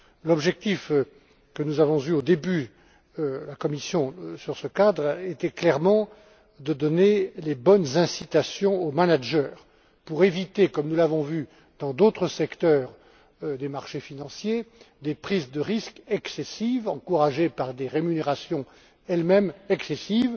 L'objectif que nous avons poursuivi, au début, à la Commission concernant ce cadre était, clairement, de donner les bonnes incitations aux managers pour éviter, comme nous l'avons vu dans d'autres secteurs des marchés financiers, des prises de risques excessives, encouragées par des rémunérations, elles mêmes excessives,